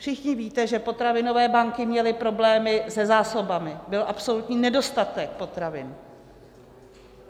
Všichni víte, že potravinové banky měly problémy se zásobami, byl absolutní nedostatek potravin.